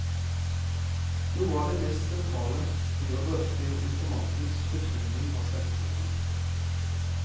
Noe av det mest sentrale blir å drøfte informantenes betoning av selvutvikling.